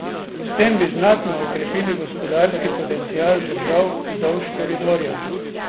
S tem bi znatno okrepili gospodarski potencial držav vzdolž koridorja.